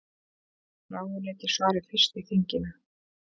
Ráðuneyti svari fyrst í þinginu